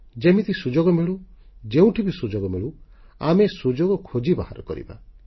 ଯେମିତି ସୁଯୋଗ ମିଳୁ ଯେଉଁଠି ବି ସୁଯୋଗ ମିଳୁ ଆମେ ସୁଯୋଗ ଖୋଜି ବାହାର କରିବା